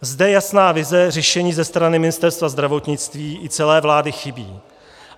Zde jasná vize řešení ze strany Ministerstva zdravotnictví i celé vlády chybí.